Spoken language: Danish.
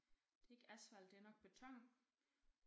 Det ikke asfalt det er nok beton